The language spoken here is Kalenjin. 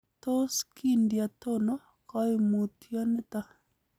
Tos kindiotono koimutioniton?